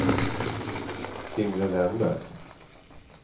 Yngve Wennberg